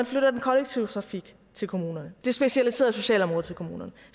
flytte den kollektive trafik til kommunerne det specialiserede socialområde til kommunerne